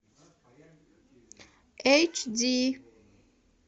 эйч ди